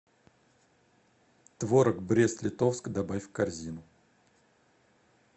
творог брест литовск добавь в корзину